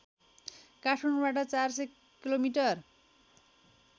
काठमाडौँबाट ४०० किमि